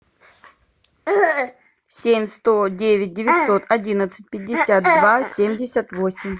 семь сто девять девятьсот одиннадцать пятьдесят два семьдесят восемь